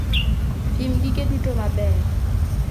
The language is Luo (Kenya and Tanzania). Pim gige tedo maber